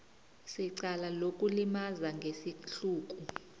secala lokulimaza ngesihluku